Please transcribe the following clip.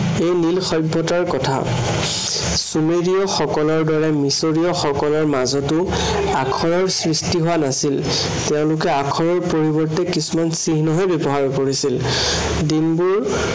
এই নীল সভ্য়তাৰ কথা। চোমেৰীয় সকলৰ দৰে মিচৰীয় সকলৰ মাজতো আখৰৰ সৃষ্টি হোৱা নাছিল। তেওঁলোকে আখৰৰ পৰিৱৰ্তে কিছুমান চিহ্নহে ব্য়ৱহাৰ কৰিছিল। দিনবোৰ